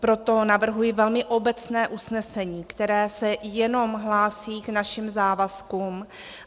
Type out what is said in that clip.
Proto navrhuji velmi obecné usnesení, které se jenom hlásí k našim závazkům.